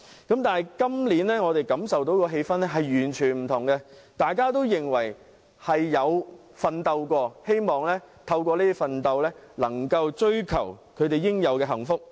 但是，今年我們感受到的氣氛完全不同，大家認為自己曾經奮鬥，希望追求應有的幸福。